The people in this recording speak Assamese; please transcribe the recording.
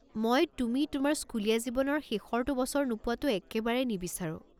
মই তুমি তোমাৰ স্কুলীয়া জীৱনৰ শেষৰটো বছৰ নোপোৱাটো একেবাৰে নিবিচাৰোঁ।